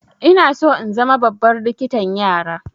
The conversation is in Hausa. Ina so in zama babbar likitan yara.